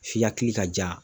F'i hakili ka ja.